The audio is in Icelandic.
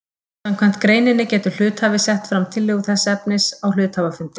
Samkvæmt greininni getur hluthafi sett fram tillögu þessa efnis á hluthafafundi.